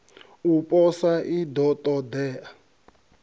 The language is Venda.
u posa i ḓo ṱoḓea